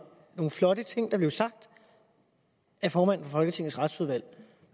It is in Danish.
nogle flotte ting der blev sagt af formanden for folketingets retsudvalg